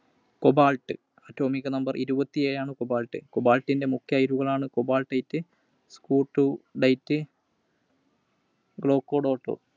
Cobalt. Atomic Number ഇരുപത്തിഏഴാണ് Cobalt. Cobalt ൻറെ മുഖ്യ അയിരുകളാണ് Cobaltite, Skutterudite, Glaucodot.